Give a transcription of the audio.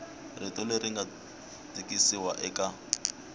rito leri nga tikisiwa eka